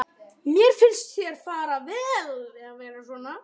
Mér finnst þér fara vel að vera svona.